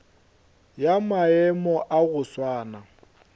ya maemo a go swana